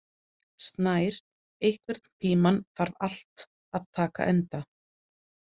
Snær, einhvern tímann þarf allt að taka enda.